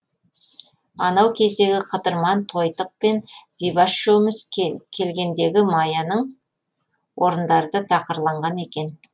анау кездегі қыдырман тойтық пен зибаш үшеуміз келгендегі маяның орындары да тақырланған екен